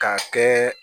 K'a kɛ